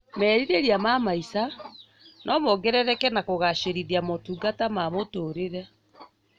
Merirĩria ma maica nomongerereke na kũgacĩrithia motungata ma mũtũrĩre